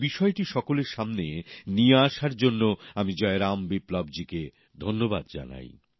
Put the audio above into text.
এই বিষয়টি সকলের সামনে নিয়ে আসার জন্য আমি জয়রাম বিপ্লব জীকে ধন্যবাদ জানাই